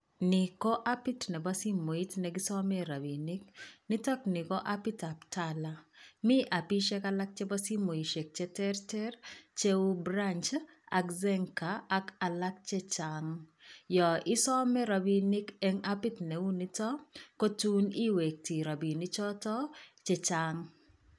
Ni ko apit nebo simoit ne kisome rabiinik, nitokni ko apitab TALA, mi apishek alak chebo simoishek che terter cheu Branch ak Zenka ak alak che chang. Yo isome rabiinik eng apit neu nito, kotun iwekte rabinichoto chechang.